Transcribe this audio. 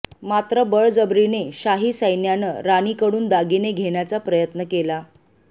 मात्र बळजबरीने शाही सैन्यानं राणीकडून दागिने घेण्याच्या प्रयत्न केला